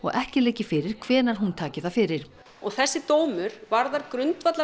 ekki liggi fyrir hvenær hún taki það fyrir þessi dómur varðar